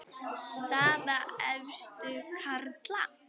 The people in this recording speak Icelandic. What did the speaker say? Staða efstu karla